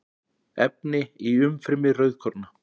efni í umfrymi rauðkorna